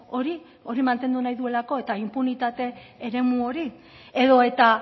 hori hori mantendu nahi duelako eta inpunitate eremu hori edo eta